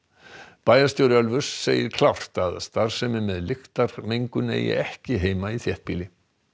bæjarstjóri Ölfuss segir klárt að starfsemi með lyktarmengun eigi ekki heima í þéttbýli